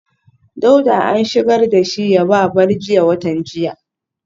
Dauda an shigar da shi yaba bar jiya watan jiya